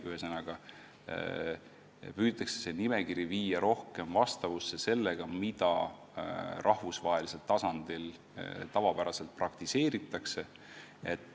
Ühesõnaga, püütakse see nimekiri viia rohkem vastavusse sellega, mida rahvusvahelisel tasandil tavapäraselt praktiseeritakse.